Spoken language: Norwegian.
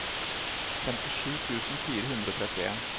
femtisju tusen fire hundre og trettien